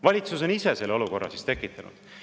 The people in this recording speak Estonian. Valitsus on ise selle olukorra tekitanud.